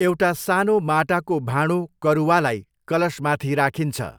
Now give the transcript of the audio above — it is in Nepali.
एउटा सानो माटाको भाँडो करुवालाई कलशमाथि राखिन्छ।